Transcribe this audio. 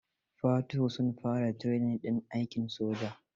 Fatuhu sun fara training ɗin aikin soja.